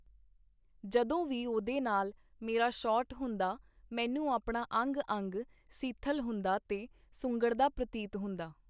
ਜਦੋਂ ਵੀ ਉਹਦੇ ਨਾਲ ਮੇਰਾ ਸ਼ਾਟ ਹੁੰਦਾ, ਮੈਨੂੰ ਆਪਣਾ ਅੰਗ-ਅੰਗ ਸਿੱਥਲ ਹੁੰਦਾ ਤੇ ਸੁੰਗੜਦਾ ਪਰਤੀਤ ਹੁੰਦਾ.